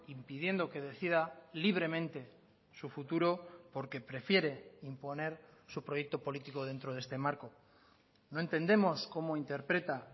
impidiendo que decida libremente su futuro porque prefiere imponer su proyecto político dentro de este marco no entendemos cómo interpreta